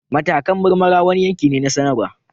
Matakan marmara wani yanki ne na sanarwa